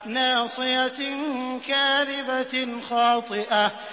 نَاصِيَةٍ كَاذِبَةٍ خَاطِئَةٍ